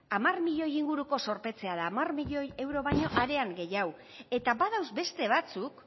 hamar milioi inguruko zorpetzea da hamar milioi euro baino arean gehiago eta badauz beste batzuk